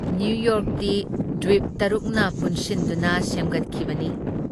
ꯅꯤꯌꯨꯌꯣꯔꯛꯇꯤ ꯗ꯭ꯋꯤꯞ ꯇꯔꯨꯛꯅ ꯄꯨꯟꯁꯤꯟꯗꯨꯅ ꯁꯦꯝꯒꯠꯈꯤꯕꯅꯤ ꯫